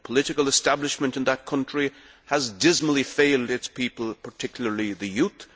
The political establishment in that country has dismally failed its people, particularly the youth.